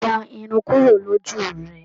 Gbọn irun kúrò l'oju rẹ!